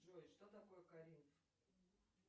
джой что такое коринф